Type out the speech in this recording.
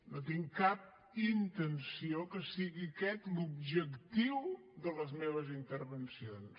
no tinc cap intenció que sigui aquest l’objectiu de les meves intervencions